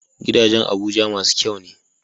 Gidajan abuja masu kyane